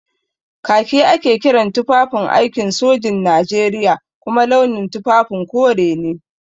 Kaki ake kiran tufafin aikin sojin Najeriya kuma launin tufafin kore ne.